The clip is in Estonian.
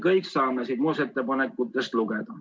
Kõike seda saab muudatusettepanekute loetelust lugeda.